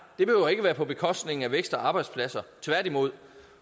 det behøver ikke at være på bekostning af vækst og arbejdspladser tværtimod